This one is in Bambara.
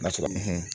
N'a sɔrɔ